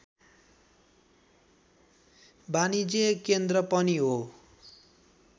वाणिज्य केन्द्र पनि हो